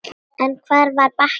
En hvar var Bakki?